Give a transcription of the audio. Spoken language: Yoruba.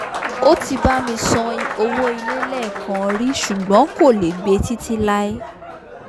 ó ti bá mi san owó ilé lẹ́ẹ̀kan rí ṣùgbọ́n kò lè gbe títí láí